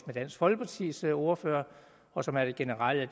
dansk folkepartis ordfører og som er det generelle